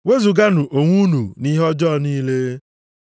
Wezuganụ onwe unu nʼihe ọjọọ niile.